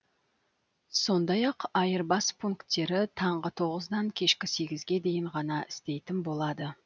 сондай ақ айырбас пунктері таңғы тоғыз нөл нөлден кешкі жиырма нөл нөлге дейін ғана істейтін болады